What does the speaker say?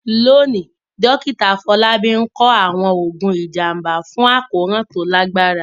Lónìí, Dókítà Afọlábi ń kọ àwọn oògùn ìjàmbá fún àkóràn tó lágbára.